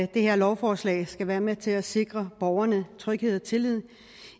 det her lovforslag skal være med til at sikre borgerne tryghed og tillid